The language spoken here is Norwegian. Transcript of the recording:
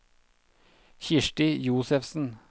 Kirsti Josefsen